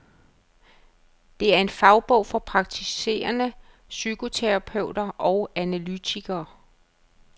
Det er en fagbog for praktiserende psykoterapeuter og analytikere.